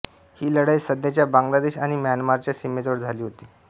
ही लढाई सध्याच्या बांगलादेश आणि म्यानमारच्या सीमेजवळ झाली होती